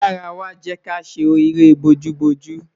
Yara wa, jẹ ki a ṣere booju booju